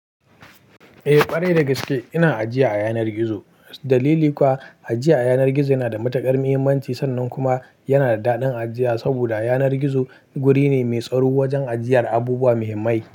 Eh, ƙware da gaske ina ajiya a yanar gizo. Dalili kuwa, ajiya a yanar gizo yana da matuƙar muhimmanci, sannan kuma yana da daɗin ajiya saboda yanar gizo wuri ne mai tsaro wajen ajiyar abubuwa muhimmai.